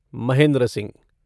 Mahendra Singh